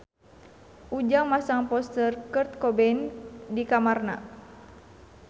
Ujang masang poster Kurt Cobain di kamarna